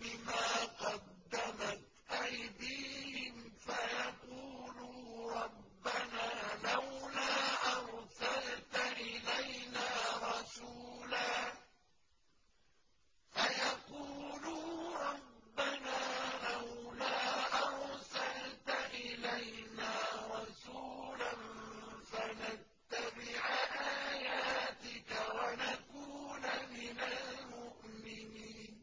بِمَا قَدَّمَتْ أَيْدِيهِمْ فَيَقُولُوا رَبَّنَا لَوْلَا أَرْسَلْتَ إِلَيْنَا رَسُولًا فَنَتَّبِعَ آيَاتِكَ وَنَكُونَ مِنَ الْمُؤْمِنِينَ